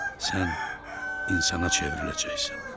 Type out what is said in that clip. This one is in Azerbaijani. Sən insana çevriləcəksən.